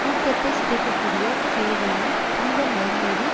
ஊக்கத்தைச் சிதைக்கக்கூடிய செயல்களையும் துன்பம் வரும்போது